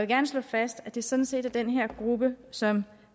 gerne slå fast at det sådan set er den her gruppe som